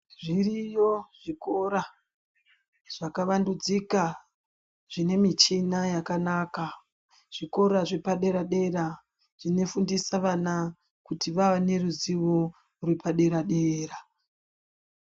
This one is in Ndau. Zviriyo zvikora zvakawandudzika zvine michina yakanaka zvikora zvepadera dera zvinofundise vana kuti vave neruzivo repadera dera.